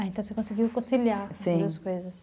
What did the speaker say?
Ah, então você conseguiu, sim, conciliar com as duas coisas.